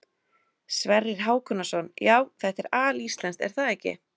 Sverrir Hákonarson: Já, þetta er alíslenskt er það ekki?